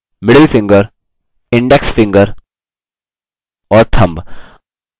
index finger और